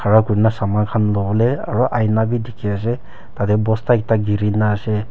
aru ina bi dikhi ase tate bosta ekta girina ase.